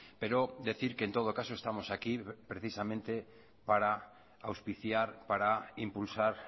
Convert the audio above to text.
pero decir que en todo caso estamos aquí precisamente para auspiciar para impulsar